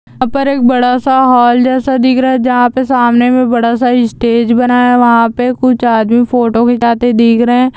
यहा पर एक बड़ा-सा हाल जैसा दिख रहा है जहा पे सामने मे एक बड़ा-सा स्टेज बना है वहा पे कुछ आदमी फोटो खिचाते दिख रहे है।